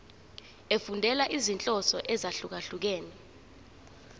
efundela izinhloso ezahlukehlukene